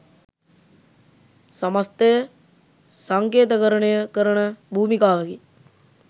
සමස්තය සංකේතකරණය කරන භූමිකාවකි